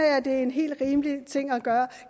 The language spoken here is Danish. det er en helt rimelig ting at gøre